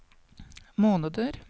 måneder